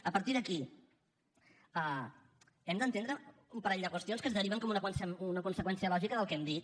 a partir d’aquí hem d’entendre un parell de qüestions que es deriven com una conseqüència lògica del que hem dit